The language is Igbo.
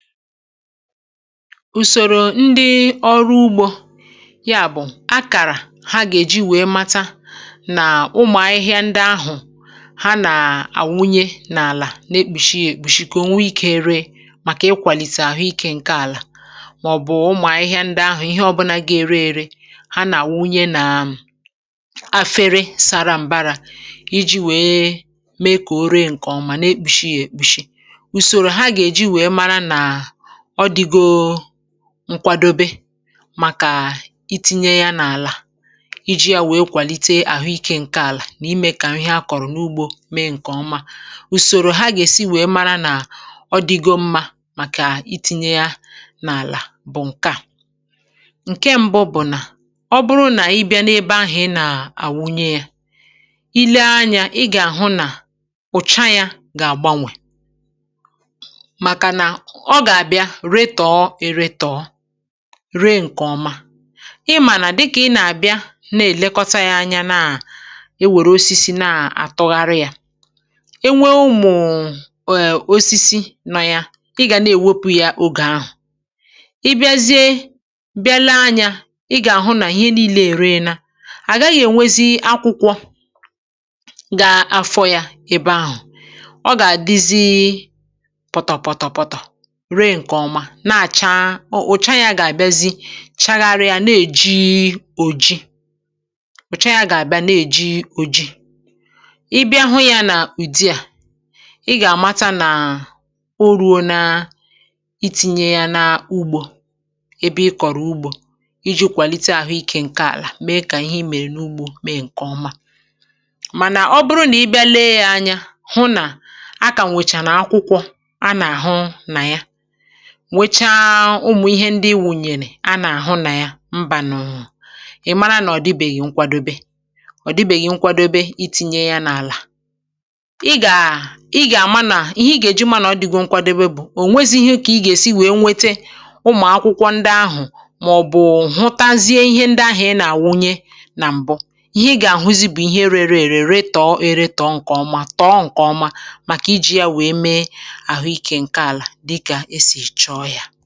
Ùsòrò ndị ọrụ ugbȯ, yà bụ̀ akàrà ha gà-èji wèe màtà nà ụmụ̀ ahịhịa ndị ahụ̀ ha nà-àwụnye n’àlà, n’ekpùshi yà èkpùshi, kà o nwee ikė ree. Màkà ị kwàlìtè àhụ ikė ǹke àlà, màọ̀bụ̀ ụmụ̀ ahịhịa ndị ahụ̀, ihe ọbụnȧ gà-èrè èrè, hà nà-àwụnye nà efere sȧrȧ m̀bara iji̇ wèe mee kà o ree ǹkè ọma. Nà ekpùshi yà èkpùshi nkwàdòbé màkà itìnye yà n’àlà iji̇ yà wèe kwàlite àhụ ikė ǹke àlà, nà imè kà ihe a kọ̀rọ̀ n’ugbȯ mee ǹkè ọma. Ùsòrò hà gà-èsi wèe màrà nà ọdìgo mmȧ màkà itìnye yà n’àlà bụ̀ ǹkè à. Ǹkè mbụ bụ̀ nà ọ̀ bụrụ nà ị bịa n’ebe ahụ̀ ì nà-àwụnye yà, um ì lee anyȧ, ì gà-àhụ nà ụ̀cha yà gà-àgbanwè redtọ̀ọ èredtọ̀ọ ree ǹkè ọma. Ì mà nà, dịkà ì nà-àbịa na-èlekọta yà anya, nà e wèrè osisi na-àtụgharị yà e nwèrè ụmụ̀ụ̀ osisi nọ yà, ì gà na-èwepụ̇ yà. Ọ̀gè ahụ̀ ì bịazie bịa lee anyȧ, ì gà-àhụ nà ihe niile ère, nà à gà-agaghị̇ ènwe akwụkwọ gà-afọ̇ yà. Èbè ahụ̀ ọ gà-àdịzi pọtọ̀ pọtọ̀, na-àcha o ùcha. Yà gà-àbịazị chàghàrịa, na-èjì òji, ùcha yà gà-àbịa na-èjì òji. Ì bịa hụ yà n’ùdi à, ì gà-àmàtà nà o rùo na itìnye yà n’ugbȯ, èbè ì kọ̀rọ̀ ugbȯ iji̇ kwàlite àhụ ikė ǹke àlà, mee kà ihe ì mèrè n’ugbȯ mee ǹkè ọma. Mànà ọ̀ bụrụ nà ì bịa lee yà anya hụ nà, “à kà m wèchàrà akwụkwọ,” à nà-àhụ nà yà nwèchà ụmụ̀ ihe ndị ì wùnyèrè, à nà-àhụ nà yà mbà. N’ùnyònyònyò, ì màrà nà ọ̀ dịbèghì nkwàdòbé. Ọ̀ dịbèghì nkwàdòbé itìnye yà n’àlà. um Ì gà-àmà nà ihe ì gà-èji, mà nà ọ̀ dịgụ nkwàdòbé, bụ̀ ò nwèzì ihe kà ì gà-èsi wèe nwète ụmụ̀ akwụkwọ ndị ahụ̀, màọ̀bụ̀ hụtazie ihe ndị ahụ̀ ì nà-àwụnye nà m̀bụ. Ihe ì gà-àhụzi bụ̀ ihe e rèrè èrè, rèrè tọọ e rètọọ ǹkè ọma, tọọ ǹkè ọma, màkà iji̇ yà wèe mee ì wèrè yà.